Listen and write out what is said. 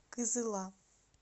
кызыла